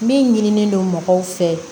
Min ɲinilen don mɔgɔw fɛ